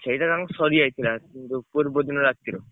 ସେଇଟା ତାଙ୍କର ସରିଯାଇଥିଲା ଯୋଉ ପୂର୍ବ ଦିନ ରାତିରେ।